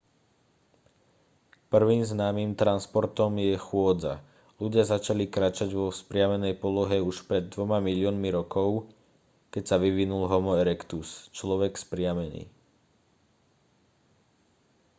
prvým známym transportom je chôdza. ľudia začali kráčať vo vzpriamenej polohe už pred dvoma miliónmi rokov keď sa vyvinul homo erectus človek vzpriamený